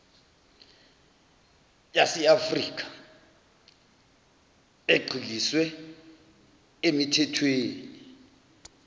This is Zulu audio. yaseafrikha egxiliswe emithethweni